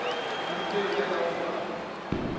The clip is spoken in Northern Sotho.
borutelo le ka go ba